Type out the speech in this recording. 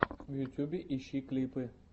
в ютубе ищи клипы